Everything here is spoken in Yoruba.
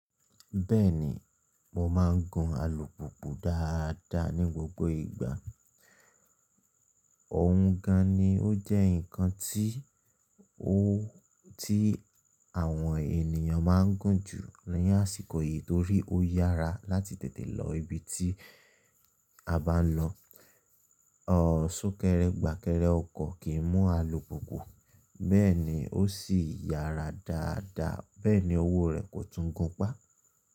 Bẹ́ẹ̀ni, mo máa ń gun alùpùpù dáadáa ní gbogbo ìgbà. Òun gan-an ni ó jẹ́ nǹkan tí àwọn ènìyàn máa ń gun jù ní àsìkò yìí torí ó yára láti tètè lọ ibi tí a bá ń lọ. Súkẹ́rẹ́gbàkẹ́rẹ́ ọkọ̀ kì í mú alùpùpù, bẹ́ẹ̀ ni ó sì yára dáadáa, bẹ́ẹ̀ ni owó rẹ̀ kò tún gùn pá.